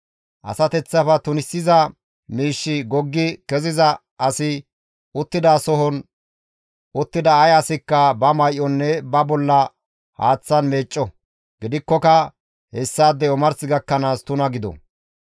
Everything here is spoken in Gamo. Asateththafe tunisiza miishshi goggi keziza asi uttidasohon uttida ay asikka ba may7onne ba bolla haaththan meecco; gidikkoka hessaadey omars gakkanaas tuna gido.